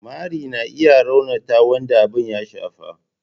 mari na iya raunata wanda abin ya shafa.